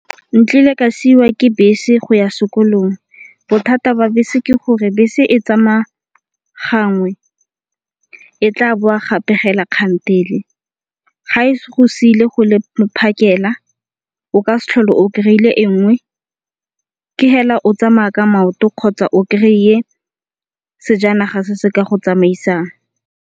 Nkile ka siwa ke bese go ya sekolong bothata ba bese ke gore bese e tsamaya gangwe e tla boa gape fela kgantele. Ga e go sile go le phakela o ka se tlhole o kry-ile e nngwe. Ke fela o tsamaya ka maoto kgotsa o kry-e sejanaga se se ka go tsamaisang.